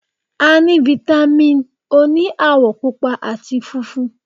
A ní fítámìn òní àwọ̀ Pupa àti funfun.